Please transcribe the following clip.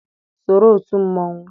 Soro òtù mmonwu!